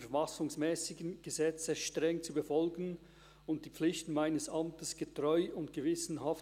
Ich wünsche Ihnen drei viel Erfolg und Freude an der Arbeit hier im Grossen Rat.